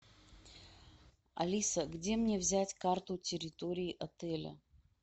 алиса где мне взять карту территории отеля